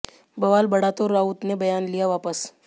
बवाल बढ़ा तो राउत ने बयान लिया वापस